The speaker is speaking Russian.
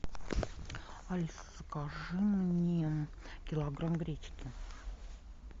алиса закажи мне килограмм гречки